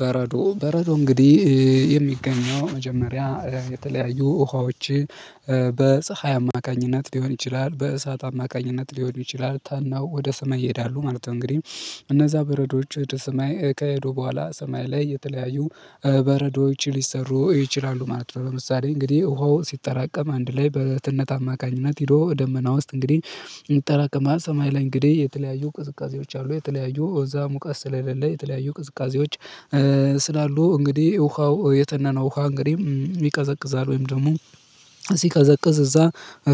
በረዶ በረዶ እንግዲህ የሚገኘው መጀመሪያ የተለያዩ ውሃዎች በፀሀይ አማካኝነት ሊሆን ይችላል በእሳት አማካኝነት ሊሆን ይችላል ተነው ወደ ሰማይ ይሄዳሉ ማለት ነው። እንግዲህ እነዛ በረዶች ወደ ሰማይ ከሄዱ በኋላ ሰማይ ላይ የተለያዩ በረዶች ሊሰሩ ይችላሉ ማለት ነው። ለምሳሌ እንግዲህ ውሃው ሲጠራቀም አንድ ላይ በትነት አማካኝነት ሄዶ ደመና ውስጥ እንግዲህ ይጠራቀማል ሰማይ ላይ እንግዲህ የተለያዩ ቅዝቃዜዎች አሉ የተለያዩ እዛ ሙቀት ስለሌለ የተለያዩ ቅዝቃዜዎች ስላሉ እንግዲህ ውሃው የተነነው ውሃ እንግዲህ ይቀዘቅዛል ወይም ደግሞ ሲቀዘቅዝ እዛ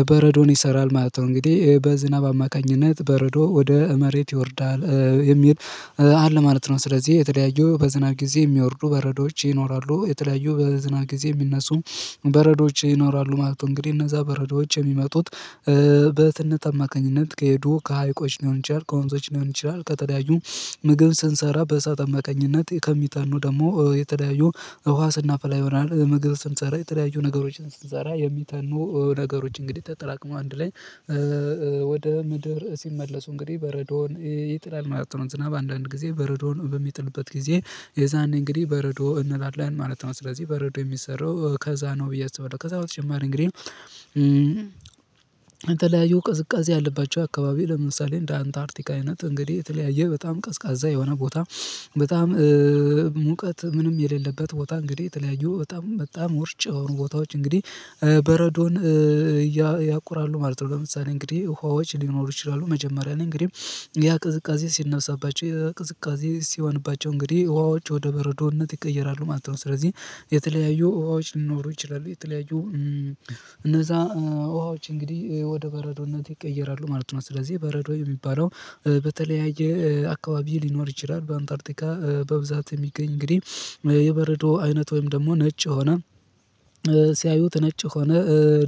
በረዶን ይሰራል ማለት ነው እንግዲህ በዝናብ አማካኝነት በረዶ ወደ መሬት ይወርዳል የሚል አለ ማለት ነው። ስለዚህ የተለያዩ በዝናብ ጊዜ ሚወርዱ በረዶዎች ይኖራሉ፤ የተለያዩ በዝናብ ጊዜ ሚነሱ በረዶዎች ይኖራሉ ማለት ነው። እንግዲህ እነዛ በረዶዎች የሚመጡት በትነት አማካኝነት ከሄዱ ከሀይቆች ሊሆን ይችላል ከወንዞች ሊሆን ይችላል ከተለያዩ ምግብ ስንሰራ በእሳት አማካኝነት ከሚተኑ ደግሞ የተለያዩ ውሃ ስናፈላ ይሆናል ምግብ ስንሰራ የተለያዩ ነገሮችን ስንሰራ የሚተኑ ነገሮች እንግዲህ ተጠራቅመው አንድ ላይ ወደ ምድር ሲመለሱ እንግዲህ በረዶውን ይጥላል ማለት ነው። ዝናብ አንዳንድ ጊዜ በረዶን በሚጥልበት ጊዜ የዛነ እንግዲህ በረዶ እንላለን ማለት ነው። ስለዚህ በረዶ የሚሰራው ከዛ ነው ብዬ አስባለሁ። ከዛ በተጨማሪ እንግዲህ የተለያዩ ቅዝቃዜ ያለባቸው አካባቢ ለምሳሌ እንደ አንታርቲካ አይነት እንግዲህ የተለያየ በጣም ቀዝቃዛ የሆነ ቦታ በጣም ሙቀት ምንም የሌለበት ቦታ እንግዲህ የተለያዩ በጣም በጣም ዉርጭ የሆኑ ቦታዎች እንግዲህ በረዶን ያቆራሉ ማለት ነው። ለምሳሌ እንግዲህ ውሃዎች ሊኖሩ ይችላሉ መጀመሪያ ነኝ እንግዲህ ያ ቅዝቃዜ ሲነብሳባቸው ቅዝቃዜ ሲሆንባቸው እንግዲህ ውሃዎች ወደ በረዶነት ይቀየራሉ ማለት ነው ስለዚህ የተለያዩ ውሃዎች ሊኖሩ ይችላሉ የተለያዩ እነዛ ውሃዎች እንግዲህ ወደ በረዶነት ይቀየራሉ ማለት ነው። ስለዚህ በረዶ የሚባለው በተለያየ አካባቢ ሊኖር ይችላል በአንታርቲካ በብዛት የሚገኝ እንግዲህ የበረዶ አይነት ወይም ደግሞ ነጭ የሆነ ሲያዩት ነጭ የሆነ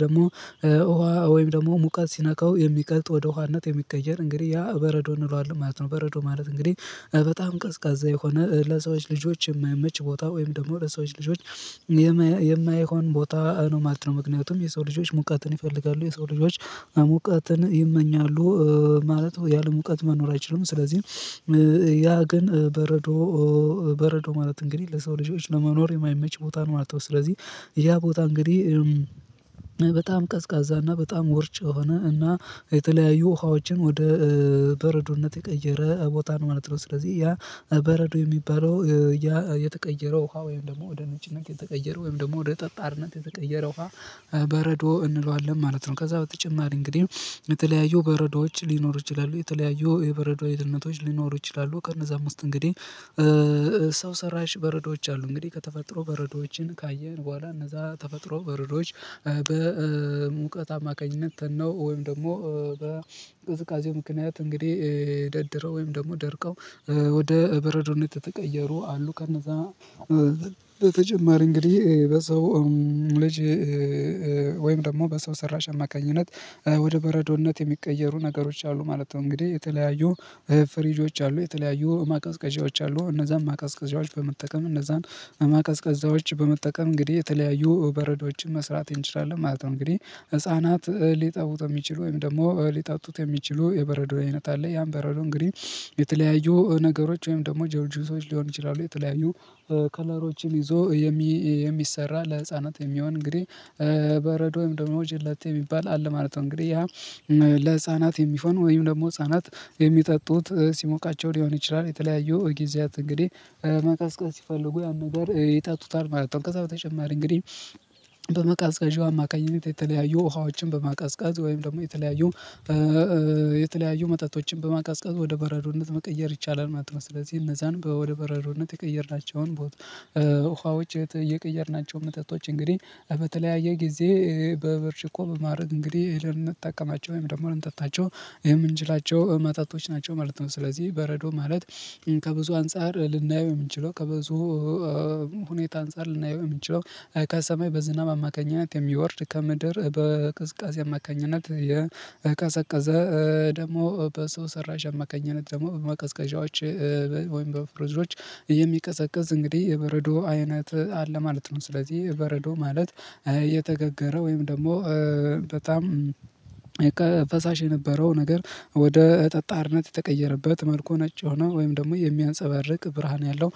ደግሞ ውሃ ወይም ደግሞ ሙቀት ሲነካው የሚቀልጥ ወደ ውሃነት የሚቀየር እንግዲህ ያ በረዶ እንለዋለን ማለት ነው በረዶ ማለት እንግዲህ በጣም ቀዝቃዛ የሆነ ለሰዎች ልጆች የማይመች ቦታ ወይም ደግሞ ለሰዎች ልጆች የማይሆን ቦታ ነው ማለት ነው። ምክንያቱም የሰው ልጆች ሙቀትን ይፈልጋሉ የሰው ልጆች ሙቀትን ይመኛሉ ማለት ያለሙቀት መኖር አይችልም ስለዚህ ያ ግን በረዶ በረዶ ማለት እንግዲህ ለሰው ልጆች ለመኖር የማይመች ቦታ ነው ማለት ነው። ስለዚህ ያ ቦታ እንግዲህ በጣም ቀዝቃዛ በጣም ዉርጭ የሆነ እና ከተለያዩ ውሃዎችን ወደ በረዶነት የቀየረ ቦታ ነው ማለት ነው ስለዚህ ያ በረዶ የሚባለው ያ የተቀየረው ውሃ ወይም ደግሞ ወደ ነጭነት የተቀየረው ወይም ደግሞ ወደ ጠጣርነት የተቀየረ ውሃ በረዶ እንለዋለን ማለት ነው ከዛ በተጨማሪ እንግዲህ የተለያዩ በረዶዎች ሊኖሩ ይችላሉ የተለያዩ የበረዶ ህይወታቶች ሊኖሩ ይችላሉ ከነዛ አምስት እንግዲህ ሰው ሰራሽ በረዶዎች አሉ። እንግዲህ ከተፈጥሮ በረዶዎችን ካየን በኋላ እነዛ ተፈጥሮ በረዶዎች በሙቀት አማካኝነት ተነው ወይም ደግሞ በቅዝቃዜው ምክንያት እንግዲህ ደድረው ወይም ደግሞ ደርቀው ወደ በረዶነት ተቀየሩ አሉ ከነዛ በተጨማሪ እንግዲህ በሰው ልጅ ወይም ደግሞ በሰው ሰራሽ አማካኝነት ወደ በረዶነት የሚቀየሩ ነገሮች አሉ ማለት ነው እንግዲህ የተለያዩ ፍሪጆች አሉ የተለያዩ ማቀዝቀዣዎች አሉ እነዛን ማቀዝቀዣዎች በመጠቀም እነዛን ቀዝቀዛዎች በመጠቀም እንግዲህ የተለያዩ በረዶዎችን መስራት እንችላለን ማለት ነው። እንግዲህ ህፃናት ሊጠቡት የሚችሉ ወይም ደግሞ ሊጠጡት የሚችሉ የበረዶ አይነት አለ። ያን በረዶ እንግዲህ የተለያዩ ነገሮች ወይም ደግሞ ጆሊጁሶች ሊሆን ይችላሉ የተለያዩ ከለሮችን ይዞ የሚሰራ ለህፃናት የሚሆን እንግዲህ በረዶ ወይም ደግሞ ጀላቲ ሚባል አለ ማለት ነው እንግዲህ ያ ለህፃናት የሚሆን ወይም ደግሞ ህፃናት የሚጠጡት ሲሞቃቸው ሊሆን ይችላል የተለያዩ ጊዜያት እንግዲህ መቀዝቀዝ ሲፈልጉ ያን ነገር ይጠጡታል ማለት ነው። ከዛ በተጨማሪ እንግዲህ በመቀዝቀዣው አማካኝነት የተለያዩ ውሃዎችን በማቀዝቀዝ ወይም ደግሞ የተለያዩ የተለያዩ መጠጦችን በማቀዝቀዝ ወደ በረዶነት መቀየር ይቻላል ማለት ነው። ስለዚህ እነዛን በወደ በረዶነት የቀየርናቸውን ውሃዎች የቀየርናቸው መጠጦች እንግዲህ በተለያየ ጊዜ በብርጭቆ በማድረግ እንግዲህ ልንጠቀማቸው ወይም ደግሞ ለንጠጣቸው የምንችላቸው መጠጦች ናቸው ማለት ነው። ስለዚህ በረዶ ማለት ከብዙ አንፃር ልናየው የምንችለው ከብዙ ሁኔታ አንፃር ልናየው ምንችለው፤ ከሰማይ በዝናብ አማካኝነት የሚወርድ ከምድር በቅስቀሴ አማካኝነት የቀዘቀዘ ደግሞ በሰው ሰራሽ አማካኝነት ደግሞ በመቀዝቀዣዎች ወይም በፍርዝዶች የሚቀዘቅዝ እንግዲህ የበረዶ አይነት አለ ማለት ነው ስለዚህ በረዶ ማለት የተጋገረው ወይም ደግሞ በጣም ፈሳሽ የነበረው ነገር ወደ ጠጣርነት የተቀየረበት መልኩ ነጭ ሆኖ ወይም ደግሞ የሚያንፀባርቅ ብርሃን ያለው